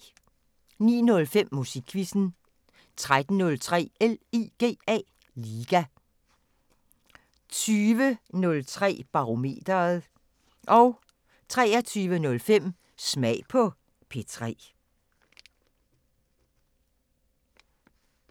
09:05: Musikquizzen 13:03: LIGA 20:03: Barometeret 23:05: Smag på P3